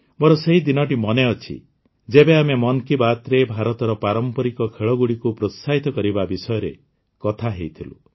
ମୋର ସେହି ଦିନଟି ମନେଅଛି ଯେବେ ଆମେ ମନ୍ କି ବାତ୍ରେ ଭାରତର ପାରମ୍ପରିକ ଖେଳଗୁଡ଼ିକୁ ପ୍ରୋତ୍ସାହିତ କରିବା ବିଷୟରେ କଥା ହୋଇଥିଲୁ